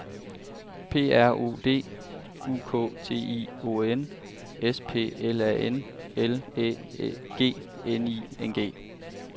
P R O D U K T I O N S P L A N L Æ G N I N G